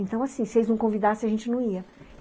Então, assim, se eles não convidassem, a gente não ia.